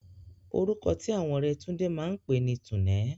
Orúkọ tí àwọn ọ̀rẹ́ Túndé máa pè ní Túnẹ̀.